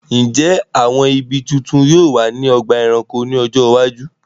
Ǹjẹ́ àwọn ibi tuntun yóò wà ní ọgbà ẹranko ní ọjọ́ iwájú?